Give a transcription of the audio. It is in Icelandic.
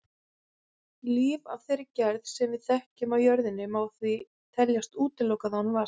Líf af þeirri gerð sem við þekkjum á jörðinni má því teljast útilokað án vatns.